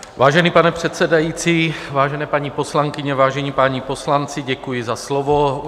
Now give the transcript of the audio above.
Vážený pane předsedající, vážené paní poslankyně, vážení páni poslanci, děkuji za slovo.